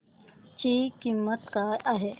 ची किंमत काय आहे